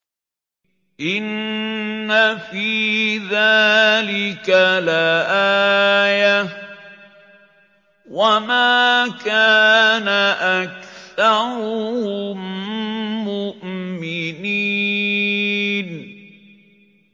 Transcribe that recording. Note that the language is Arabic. إِنَّ فِي ذَٰلِكَ لَآيَةً ۖ وَمَا كَانَ أَكْثَرُهُم مُّؤْمِنِينَ